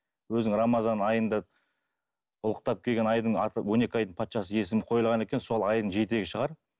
өзін рамазан айында ұлықтап келген айдың аты он екі айдың патшасы есімі қойылған екен сол айдың жетегі шығар